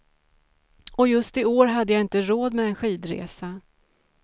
Och just i år så hade jag inte råd med en skidresa.